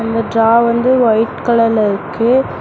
இந்த டிரா வந்து ஒய்ட் கலர்ல இருக்கு.